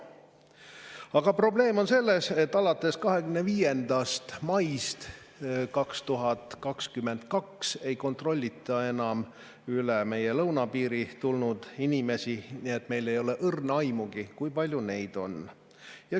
Aga probleem on selles, et alates 25. maist 2022 ei kontrollita enam üle meie lõunapiiri tulnud inimesi, nii et meil ei ole õrna aimugi, kui palju neid on.